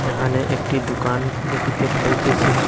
এখানে একটি দুকান দেখিতে পাইতেসি।